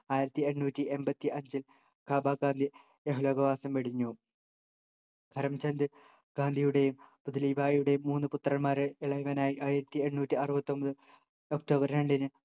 ആയിരത്തി എണ്ണൂറ്റി എൺപത്തി അഞ്ചിൽ കാബ ഗാന്ധി ഇഹലോകവാസം വെടിഞ്ഞു കരം ചന്ദ് ഗാന്ധിയുടെയും പുത്‌ലി ഭായിയുടെയും മൂന്നു പുത്രന്മാരിൽ ഇളയവൻ ആയി ആയിരത്തിഎണ്ണൂറ്റി അറുപതത്തൊമ്പത് ഒക്ടോബർ രണ്ടിന്